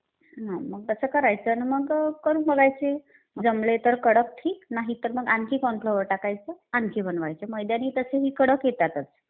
हा मग तसं करायचं आणि मग करून बघायचे. जमले तर कडक ठीक आणि तर मग आणखी कॉर्न फ्लोअर टाकायचं, आणखी बनवायचे. मैद्याने तसेही कडक येतातच.